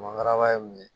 Mangara ye mun ye